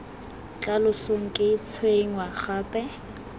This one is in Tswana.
tla losong ke tshwenngwa gape